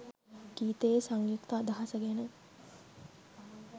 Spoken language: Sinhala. ගීතයේ සංයුක්ත අදහස ගැන